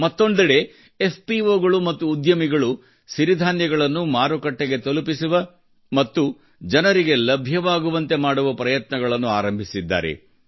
ಮತ್ತೊಂದೆಡೆ ಎಫ್ಪಿಒಗಳು ಮತ್ತು ಉದ್ಯಮಿಗಳು ಸಿರಿಧಾನ್ಯಗಳನ್ನು ಮಾರುಕಟ್ಟೆಗೆ ತಲುಪಿಸುವ ಮತ್ತು ಜನರಿಗೆ ಲಭ್ಯವಾಗುವಂತೆ ಮಾಡುವ ಪ್ರಯತ್ನಗಳನ್ನು ಆರಂಭಿಸಿದ್ದಾರೆ